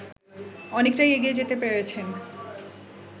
অনেকটাই এগিয়ে যেতে পেরেছেন